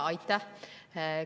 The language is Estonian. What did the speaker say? Aitäh!